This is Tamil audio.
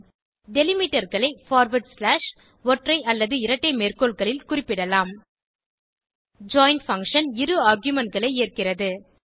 Delimiterகளை பார்வார்ட் ஸ்லாஷ் ஒற்றை அல்லது இரட்டை மேற்கோள்களில் குறிப்பிடலாம் ஜாயின் பங்ஷன் இரு argumentகளை ஏற்கிறது